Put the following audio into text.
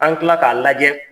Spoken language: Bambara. An kila k'a lajɛ